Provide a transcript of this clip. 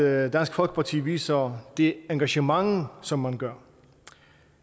at dansk folkeparti viser det engagement som man gør